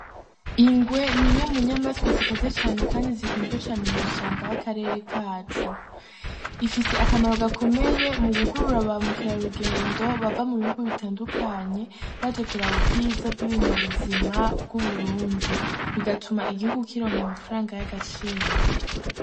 Ingwe n'imwe mu nyamaswa zikaze cane kandi zikunzwe cane mu mashamba y'akarere kacu, ifise akamaro gakomeye mu gukurura ba mukerarugendo bava mu bihugu bitandukanye baje kuraba ubwiza bw'ibinyabuzima bw'Uburundi, bigatuma igihugu kironka amafaranga y'agaciro.